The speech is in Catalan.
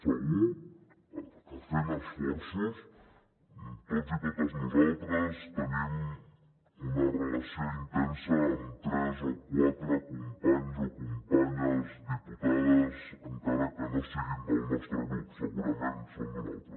segur que fent esforços tots i totes nosaltres tenim una relació intensa amb tres o quatre companys o companyes diputades encara que no siguin del nostre grup segurament són d’un altre